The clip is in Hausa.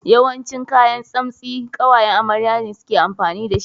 Yawancin kayan tsamsti ƙawayan amarya ne suke amfani da shi.